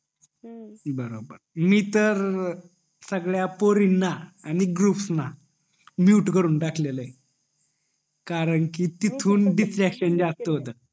हम्म मी तर सगळ्या पोरींना आणि ग्रुप्स ला mute करून टाकलेल ये करून टाकलेल ये कारण तिथून distraction जास्त होत